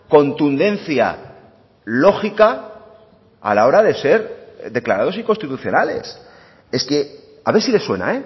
contundencia lógica a la hora de ser declarados inconstitucionales es que a ver si les suena